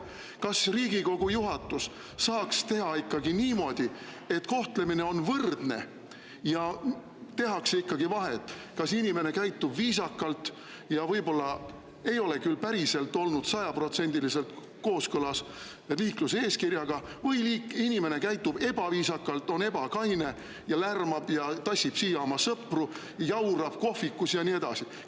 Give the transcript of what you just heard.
Kas Riigikogu juhatus saaks teha niimoodi, et kohtlemine oleks võrdne ja tehtaks ikkagi vahet, kas inimene käitub viisakalt, kuigi võib-olla ei ole küll olnud sajaprotsendiliselt liikluseeskirjaga kooskõlas, või inimene käitub ebaviisakalt, on ebakaine, lärmab, tassib siia oma sõpru, jaurab kohvikus ja nii edasi?